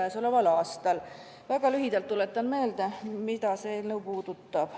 Tuletan väga lühidalt meelde, mida see eelnõu puudutab.